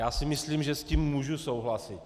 Já si myslím, že s tím můžu souhlasit.